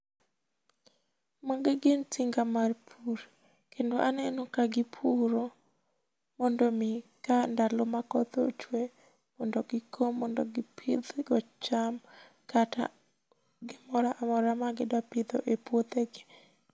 Magi gin tinga mar pur, kendo aneno ka gipuro mondo mi ka ndalo ma koth ochwe mondo gikom mondo gipidhgo cham kata gimoramora ma gidwa pidho e puothegi